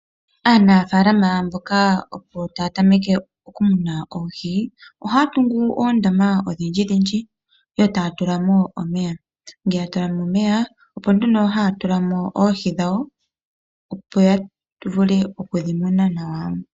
Aanafaalama mboka opo taya tameke okumuna oohi ohaya tungu oondama ondjindji etaya tulamo wlomeya. Ngele yatulamo omeya opo nduno haya tulamo oohi dhawo opo yavule oku dhimuna nawa.